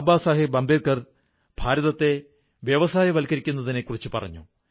ബാബാ സാഹബ് അംബേദ്കർ ഭാരതത്തെ വ്യവസായവത്കരിക്കുന്നതിനെക്കുറിച്ചു പറഞ്ഞു